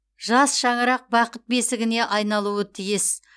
жас шаңырақ бақыт бесігіне айналуы тиіс